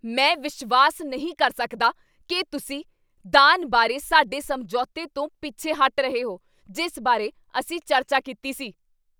ਮੈਂ ਵਿਸ਼ਵਾਸ ਨਹੀਂ ਕਰ ਸਕਦਾ ਕੀ ਤੁਸੀਂ ਦਾਨ ਬਾਰੇ ਸਾਡੇ ਸਮਝੌਤੇ ਤੋਂ ਪਿੱਛੇ ਹਟ ਰਹੇ ਹੋ ਜਿਸ ਬਾਰੇ ਅਸੀਂ ਚਰਚਾ ਕੀਤੀ ਸੀ।